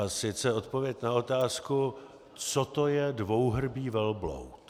A sice odpověď na otázku, co to je dvouhrbý velbloud.